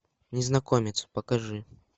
незнакомец покажи